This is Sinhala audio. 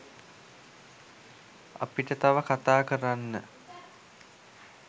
අපිට තව කතා කරන්න